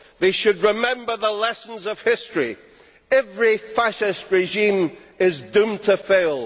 They should remember the lessons of history every fascist regime is doomed to fail